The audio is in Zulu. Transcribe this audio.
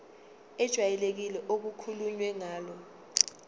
ejwayelekile okukhulunywe ngayo